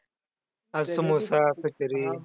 अं samosa kachori